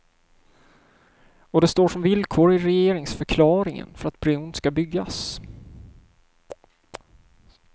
Och det står som villkor i regeringsförklaringen för att bron ska byggas.